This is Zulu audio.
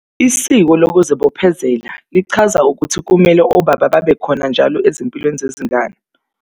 Isiko lokuzibophezela lichaza ukuthi kumele obaba babekhona njalo ezimpilweni zezingane.